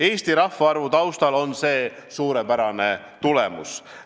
Eesti rahvaarvu taustal on see suurepärane tulemus.